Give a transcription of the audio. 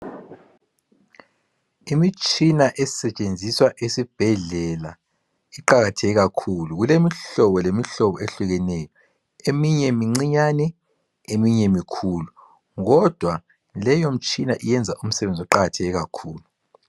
Imitshina esetshenziswa esibhedlela iqakatheke kakhulu. Kulemihlobo lemihlobo ehlukeneyo eminye mincinyane eminye mikhulu kodwa leyomtshina iyenza umsebenzi iqakatheke kakhulu.